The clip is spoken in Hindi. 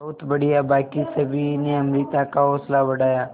बहुत बढ़िया बाकी सभी ने अमृता का हौसला बढ़ाया